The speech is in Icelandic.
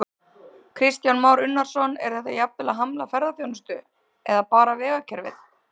Kristján Már Unnarsson: Er þetta jafnvel að hamla ferðaþjónustu, bara vegakerfið?